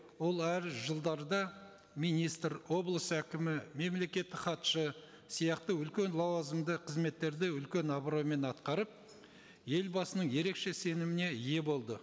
ол әр жылдарда министр облыс әкімі мемлекеттік хатшы сияқты үлкен лауазымды қызметтерді үлкен абыроймен атқарып елбасының ерекше сеніміне ие болды